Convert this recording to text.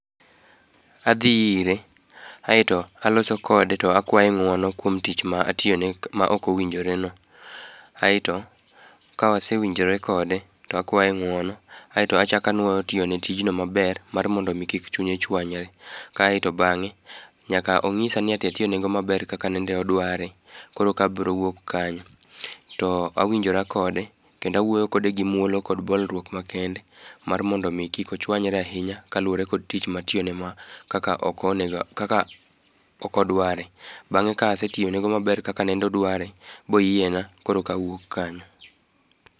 Adhi ire aeto aloso kode to akwaye ng'uono kuom tich ma atioyone maok owinjoreno. Aeto kawasewinjore kode to akwaye ng'uono aeto achaka anuoyo tiyone tijno maber mar mondo omi kik chunye chwanyre, kaeto bang'e nyaka ong'isa ni ati atiyonego maber kaka nende odware koro ka abro wuok kanyo. To awinjora kode kendo awuoyo kode gi muolo kod bolruok makende mar mondo omi kik ochwanyre ahinya kaluwore kod tich matiyone ma kaka okodware, bang'e kasetiyonego maber kaka nende odware boyiena koro kawuok kanyo.